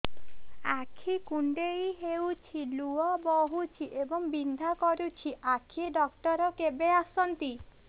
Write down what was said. ଆଖି କୁଣ୍ଡେଇ ହେଉଛି ଲୁହ ବହୁଛି ଏବଂ ବିନ୍ଧା କରୁଛି ଆଖି ଡକ୍ଟର କେବେ ଆସନ୍ତି